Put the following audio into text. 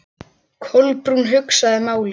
Kolbrún hugsaði málið.